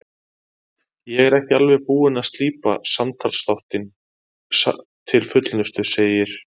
Ég er ekki alveg búinn að slípa samtalsþáttinn til fullnustu, segir